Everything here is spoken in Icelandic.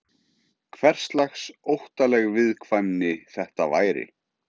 Hverslags óttaleg viðkvæmni þetta væri?